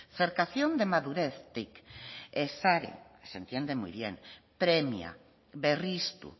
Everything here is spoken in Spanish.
cercación de madurez tic se entiende muy premia berriztu